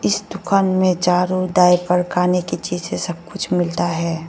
इस दुकान में झारू डायपर खाने की चीज सब कुछ मिलता है।